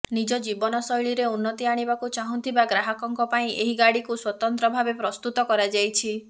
ନିଜ ଜୀବନଶୈଳୀରେ ଉନ୍ନତି ଆଣିବାକୁ ଚାହୁଁଥିବା ଗ୍ରାହକଙ୍କ ପାଇଁ ଏହି ଗାଡ଼ିକୁ ସ୍ୱତନ୍ତ୍ର ଭାବେ ପ୍ରସ୍ତୁତ କରାଯାଇଛି